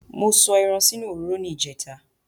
Mo sọ ẹran sínú òróró ní ìjẹta